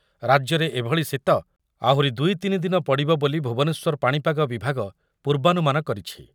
ରାଜ୍ୟରେ ଏଭଳି ଶୀତ ଆହୁରି ଦୁଇ ତିନି ଦିନ ପଡ଼ିବ ବୋଲି ଭୁବନେଶ୍ୱର ପାଣିପାଗ ବିଭାଗ ପୂର୍ବାନୁମାନ କରିଛି ।